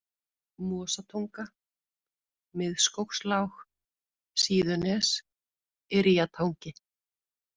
Mosatunga, Miðskógslág, Síðunes, Yrjatangi